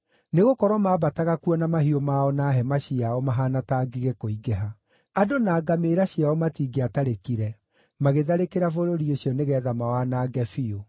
Nĩgũkorwo maambataga kuo na mahiũ mao na hema ciao mahaana ta ngigĩ kũingĩha. Andũ na ngamĩĩra ciao matingĩatarĩkire; magĩtharĩkĩra bũrũri ũcio nĩgeetha mawanange biũ.